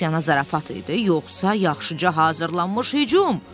Dostyanan zarafat idi, yoxsa yaxşıca hazırlanmış hücum?